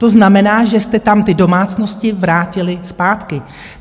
To znamená, že jste tam ty domácnosti vrátili zpátky.